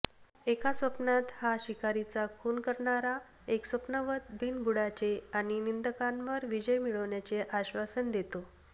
एका स्वप्नात हा शिकारीचा खून करणारा एक स्वप्नवत बिनबुडाचे आणि निंदकांवर विजय मिळविण्याचे आश्वासन देतो